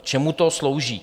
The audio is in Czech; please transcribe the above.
K čemu to slouží?